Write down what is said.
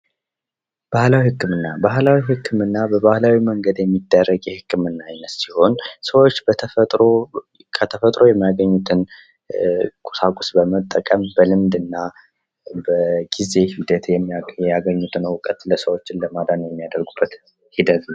ባህላዊ ሕክምና ባህላዊ ሕክምና በባህላዊ መንግድ የሚደረግ የህክምና አይነት ሲሆን ሰዎች በተፈጥሮ ከተፈጥሮ የሚያገኙትን ቁሳቁስ በመጠቀም በልምድ እና በጊዜ ሂደት ያገኙትን እውቀት ለሰዎች ለማዳን የሚያደርጉበት ሂደት ነው::